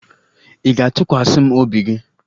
Ị ga-atụkwasa m obi gị?